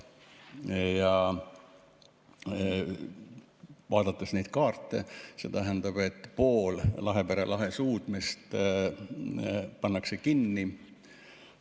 Kui kaarti vaadata, siis see tähendab, et pool Lahepere lahe suudmest pannakse kinni.